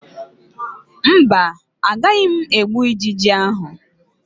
Mba, agaghị m egbu ijiji ahụ